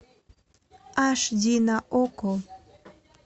аш ди на окко